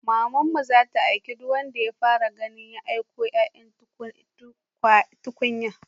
Mamanmu zata aiki duk wanda ta fara gani ya kaiwa yaya tukunya